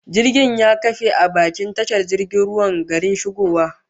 Jirgin ya kafe a bakin tashar jirgin ruwan garin shigowa